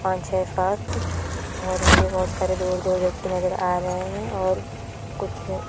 पॉच छे सात और मुझे बहुत सारे दूर-दूर व्यक्ति नजर आ रहे हैं और कुछ--